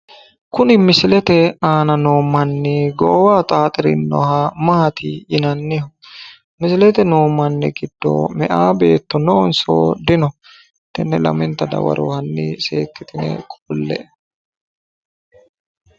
Kuni misilete aana noo manni goowaho xaxirinoha maati yinanniho? misilete noo manni giddo meyaa beetto noonso dino? tenne lamenta dawaro hanni seekkitine qolle'e.